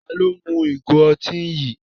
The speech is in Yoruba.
Tani ó mu ìgò ọtí yìí?